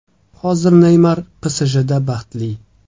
Hozir Neymar PSJda baxtli.